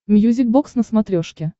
мьюзик бокс на смотрешке